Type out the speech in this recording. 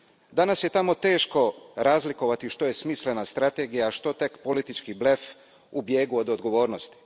Danas je tamo teško razlikovati što je smislena strategija, a što tek politički blef u bijegu od odgovornosti.